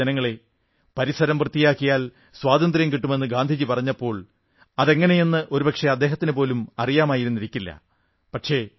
പ്രിയപ്പെട്ട ജനങ്ങളേ പരിസരം വൃത്തിയാക്കിയാൽ സ്വാതന്ത്ര്യം കിട്ടുമെന്നു ഗാന്ധിജി പറഞ്ഞപ്പോൾ അതെങ്ങനെയെന്ന് ഒരുപക്ഷേ അദ്ദേഹത്തിന് പോലും അറിയാമായിരുന്നിരിക്കില്ല